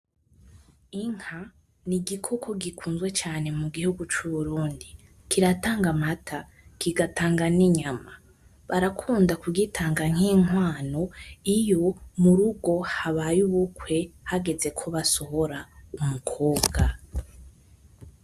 Inka, nigikoko gikunzwe cane mu gihugu c'Uburundi. Kiratanga amata, kigatanga ninyama. Barakunda kugitanga nkinkwano iyo murugo habaye ubukwe hageze ko basohora umukobwa.